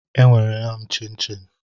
E nwere m chinchin